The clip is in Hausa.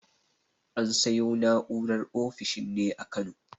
An sayo na'urar ofishin ne a Kano.